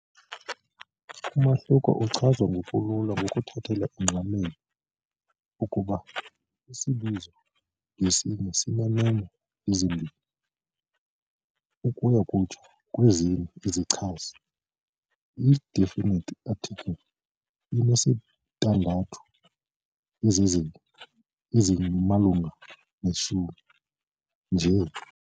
Umahluko uchazwa ngokulula ngokuthathela ingqalelo ukuba isibizo ngasinye sineemo ezimbini, ukuya kutsho kwezine izichazi, i-definite article inesintandathu, izenzi ezimalunga neshumi, njl.